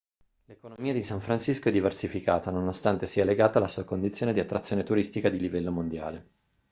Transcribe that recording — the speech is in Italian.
l'economia di san francisco è diversificata nonostante sia legata alla sua condizione di attrazione turistica di livello mondiale